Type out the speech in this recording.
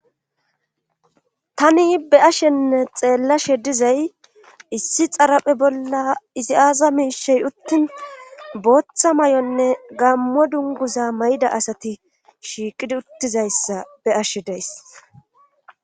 Tani be ashenne xeellashe dizay issi xaraphe bolla izi aaza miishey uttin booththa may7onne gammo dunguza may7da asati shiiqidi uttizayssa be ashe days.